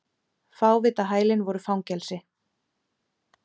Fávitahælin voru fangelsi.